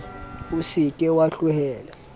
o se ke wa tlohela